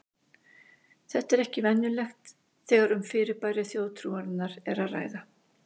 Þetta er ekki venjulegt þegar um fyrirbæri þjóðtrúarinnar er að ræða.